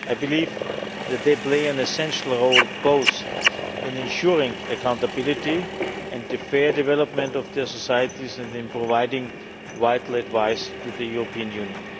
I believe that they play an essential role both in ensuring accountability and the fair development of their societies and in providing vital advice to the European